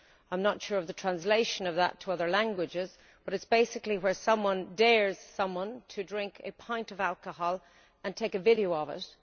I am not sure of the translation of that to other languages but it is basically where someone dares someone to drink a pint of alcohol and takes a video of it.